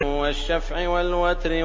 وَالشَّفْعِ وَالْوَتْرِ